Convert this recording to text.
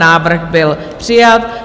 Návrh byl přijat.